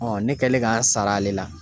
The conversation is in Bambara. ne kɛlen k'an sara ale la